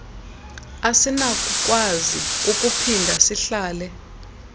asinakukwazi ukuphinda sihlale